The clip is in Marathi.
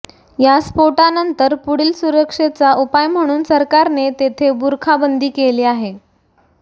या स्फोटानंतर पुढील सुरक्षेचा उपाय म्हणून सरकारने तेथे बुरखा बंदी केली आहे